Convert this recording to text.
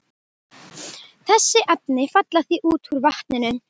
Þessi efni falla því út úr vatninu.